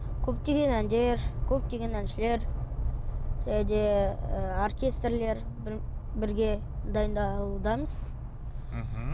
көптеген әндер көптеген әншілер және де ы оркестрлер бірге дайындалудамыз мхм